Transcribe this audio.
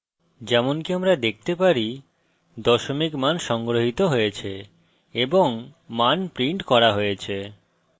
যেমনকি আমরা দেখতে পারি দশমিক মান সংগ্রহিত হয়েছে এবং মান printed করা হয়েছে